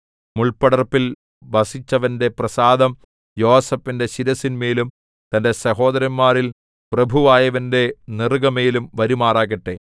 മുൾപ്പടർപ്പിൽ വസിച്ചവന്റെ പ്രസാദം യോസേഫിന്റെ ശിരസ്സിന്മേലും തന്റെ സഹോദരന്മാരിൽ പ്രഭുവായവന്റെ നെറുകമേലും വരുമാറാകട്ടെ